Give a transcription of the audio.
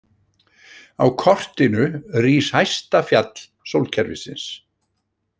Á kortinu rís hæsta fjall sólkerfisins.